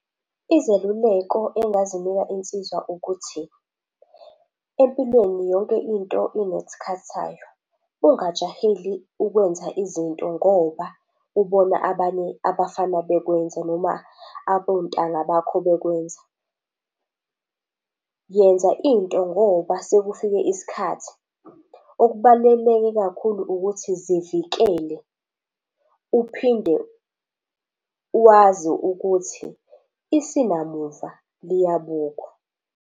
Izeluleko engingazinika insizwa ukuthi, empilweni yonke into inesikhathi sayo, ungajaheli ukwenza izinto ngoba ubona abanye abafana bekwenza noma abontanga bakho bekwenza. Yenza into ngoba sekufike isikhathi. Okubaluleke kakhulu ukuthi zivikele, uphinde wazi ukuthi isinamuva liyabukwa.